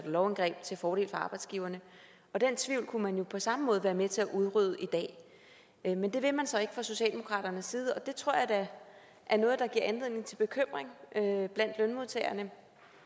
lovindgreb til fordel for arbejdsgiverne og den tvivl kunne man jo på samme måde være med til at udrydde i dag men men det vil man så ikke fra socialdemokratiets side og det tror jeg da er noget der giver anledning til bekymring blandt lønmodtagerne